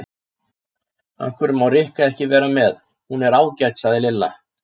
Af hverju má Rikka ekki vera með, hún er ágæt sagði Lilla.